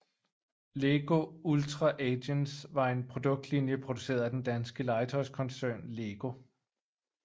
Lego Ultra Agents var en produktlinje produceret af den danske legetøjskoncern LEGO